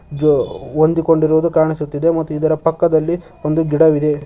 ಜೋ ಹೊಂದಿಕೊಂಡಿರುವುದು ಕಾಣಿಸುತ್ತಿದೆ ಮತ್ತು ಇದರ ಪಕ್ಕದಲ್ಲಿ ಒಂದು ಗಿಡವಿದೆ.